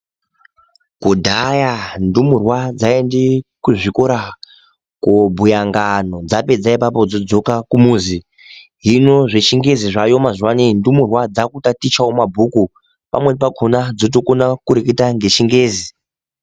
Kudhaya ndumurwa dzaiende kuzvikora kobhuya ngano dzapedza ipapo dzodzoka kumuzi hino zvechingezi zvaayo mazuwa anya ndumurwa dzakukona kutatichawo mabhuku pamweni pakhona dzotokona kureketa ngechingezi.